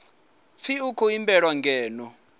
pfi u khou imbelwa ngeno